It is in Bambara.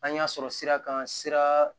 An y'a sɔrɔ sira kan sira